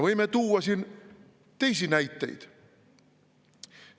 Võime tuua siin teisi näiteid.